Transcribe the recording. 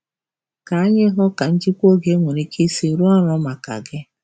Ka anyị hụ ka njikwa oge nwere ike isi rụọ ọrụ maka gị